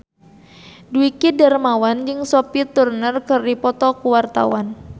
Dwiki Darmawan jeung Sophie Turner keur dipoto ku wartawan